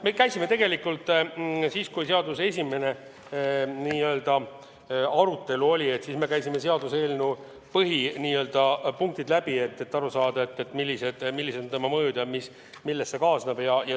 Me käisime tegelikult siis, kui oli seaduseelnõu esimene arutelu, selle põhipunktid läbi, et saada aru, millised on mõjud, mis sellega kaasnevad.